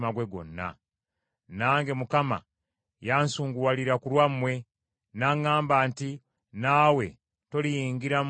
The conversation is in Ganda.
Nange Mukama yansunguwalira ku lwammwe, n’aŋŋamba nti, “Naawe toliyingira mu nsi omwo.